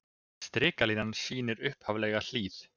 Strikalínan sýnir upphaflega hlíð.